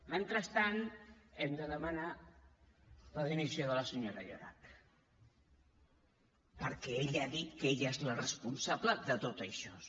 mentrestant hem de demanar la dimissió de la senyora llorach perquè ella ha dit que ella és la responsable de tot això